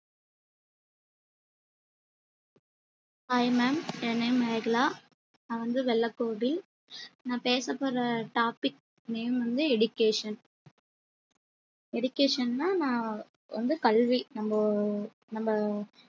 hi ma'am என் name Megala நான் வந்து வெள்ளகோவில் நான் பேசப்போற topic name வந்து education education னா நான் வந்து கல்வி நம்ம நம்ம